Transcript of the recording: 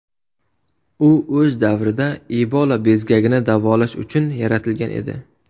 U o‘z davrida Ebola bezgagini davolash uchun yaratilgan edi .